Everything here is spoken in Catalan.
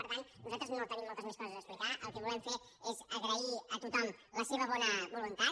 per tant nosaltres no tenim moltes més coses a explicar el que volem fer és agrair a tothom la seva bona voluntat